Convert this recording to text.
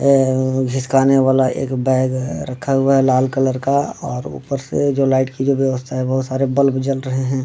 ए उ घीसकाने वाला एक बैग रखा हुआ है लाल कलर का और ऊपर से जो लाइट की जो व्यवस्था है बहोत सारे बल्ब जल रहे है।